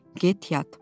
Get yat!